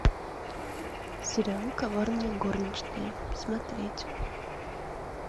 сериал коварные горничные смотреть